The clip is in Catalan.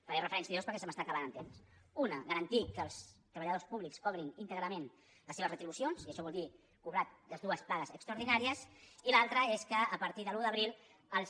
faré referència a dues perquè se m’està acabant el temps una garantir que els treballadors públics cobrin íntegrament les seves retribucions i això vol dir cobrar les dues pagues extraordinàries i l’altra és que a partir de l’un d’abril els